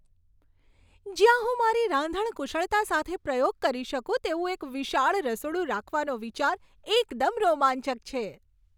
જ્યાં હું મારી રાંધણ કુશળતા સાથે પ્રયોગ કરી શકું તેવું એક વિશાળ રસોડું રાખવાનો વિચાર એકદમ રોમાંચક છે.